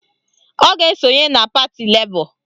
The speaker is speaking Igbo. Ọ ga-esonye na pati Lebọ